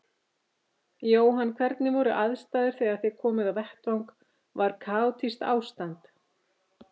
Jóhann: Hvernig voru aðstæður þegar þið komuð á vettvang, var kaotískt ástand?